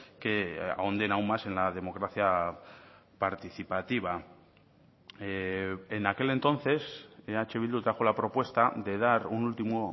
que ahonden aún más en la democracia participativa en aquel entonces eh bildu trajo la propuesta de dar un último